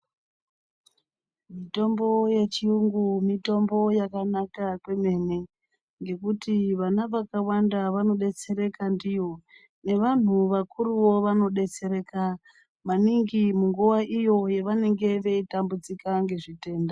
Mitombo yechiyungu mitombo yakanaka kwemene ,ngekuti vana vakawanda vanodetsereka ndiyo, nevanhu vakuruwo vanodetsereka ,maningi munguva iyo yevanenge veitambudzika ngezvitenda.